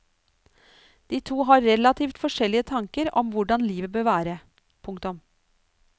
De to har relativt forskjellige tanker om hvordan livet bør være. punktum